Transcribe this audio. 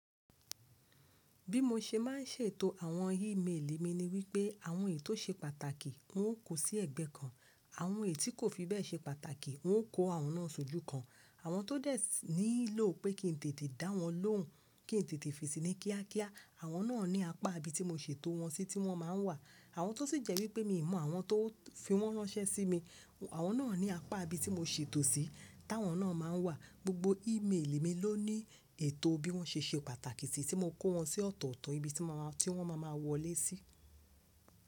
Bí mo ṣe ma ń ṣètò àwọn ímelì mi ni wípé àwọn ètò ṣe pàtàkì wó kó sí ẹ̀gbẹ́ kan, àwọn ètò tí kò fi bẹ́ẹ̀ ṣe pàtàkì wọ́n ó kó àwọn náà sójú kan, àwọn tó dẹ̀ nílò pé kí n tètè dá wọn lóhùn, kí n tètè fèsì ní kíákíá àwọn náà ní apá ibi tí mo ṣètò wọn sí tí wọ́n máa ń wà, àwọn tó sì jẹ́ wípé mi mọ àwọn tó fi wọ́n ránṣẹ́ sí mi, àwọn náà ní apá ibi tí mo ṣètò sí táwọn náà máa ń wà. Gbogbo ímeli mi ló ní ètò bí wọ́n ṣe ṣe pàtàkì tí mo kó wọn sí ọ̀tọ̀ọ̀tọ̀ ibi tí wọ́n máa ma wọlé sí.